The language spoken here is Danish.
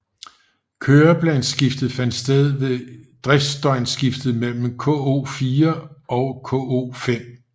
Køreplansskiftet fandt sted ved driftsdøgnsskiftet mellem K04 og K05